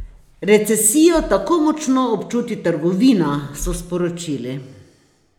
Recesijo tako močno občuti trgovina, so sporočili.